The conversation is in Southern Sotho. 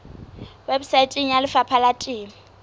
weposaeteng ya lefapha la temo